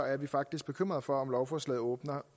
er vi faktisk bekymret for om lovforslaget åbner